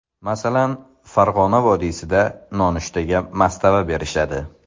Masalan, Farg‘ona vodiysida nonushtaga mastava berishadi.